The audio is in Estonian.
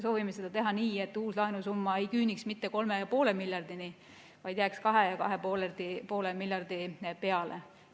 Soovime seda teha nii, et uus laenusumma ei küüniks mitte 3,5 miljardini, vaid jääks 2–2,5 miljardi euro peale.